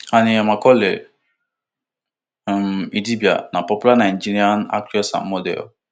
annie macaulay um idibia na popular nigerian actress and model